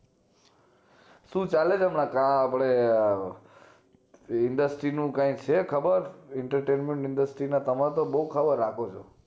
શું ચાલે છે હમણાં industry નું કાય છે ખબર entertainment Industry તમાર તો બોવ ખબર રાખો છો